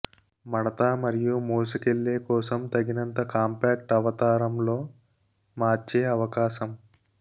మడత మరియు మోసుకెళ్ళే కోసం తగినంత కాంపాక్ట్ అవతారం లో మార్చే అవకాశం